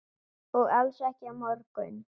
Og alls ekki á morgun.